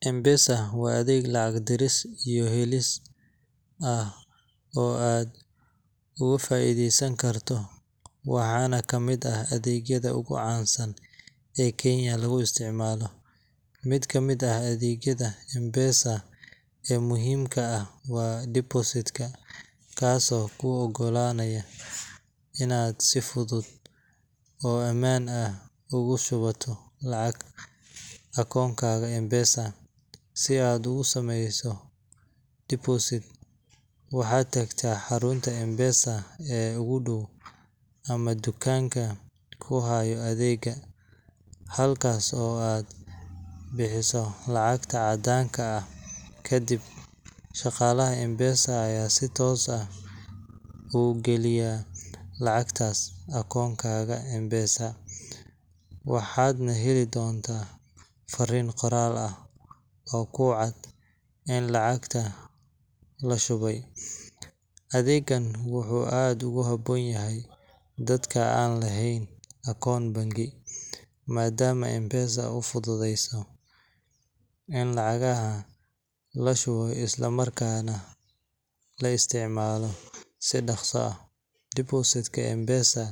M-PESA waa adeeg lacag diris iyo helis ah oo aad ugu faa’iidaysan karto, waxaana ka mid ah adeegyada ugu caansan ee Kenya lagu isticmaalo. Mid ka mid ah adeegyada M-PESA ee muhiimka ah waa Deposit ka, kaas oo kuu oggolaanaya inaad si fudud oo ammaan ah ugu shubato lacag akoonkaaga M-PESA. Si aad ugu sameyso deposit, waxaad tagtaa xarunta M-PESA ee ugu dhow ama dukaanka ku haya adeegga, halkaas oo aad bixiso lacagta caddaanka ah. Kadib, shaqaalaha M-PESA ayaa si toos ah u geliya lacagtaas akoonkaaga M-PESA, waxaadna heli doontaa farriin qoraal ah oo ku cad in lacagta la shubay. Adeeggan wuxuu aad ugu habboon yahay dadka aan lahayn akoon bangi, maadaama M-PESA uu u fududeeyo in lacagaha la shubo isla markaana la isticmaalo si dhakhso ah. Deposit ka M-PESA